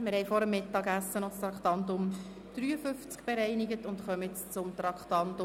Wir haben vor dem Mittagessen noch das Traktandum 53 bereinigt und kommen jetzt zum Traktandum 54: